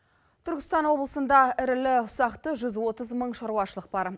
түркістан облысында ірілі ұсақты жүз отыз мың шаруашылық бар